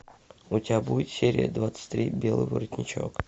у тебя будет серия двадцать три белый воротничок